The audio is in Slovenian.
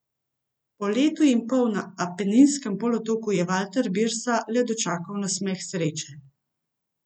Po letu in pol na Apeninskem polotoku je Valter Birsa le dočakal nasmeh sreče.